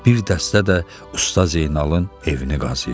Bir dəstə də Usta Zeynalın evini qazıyırdı.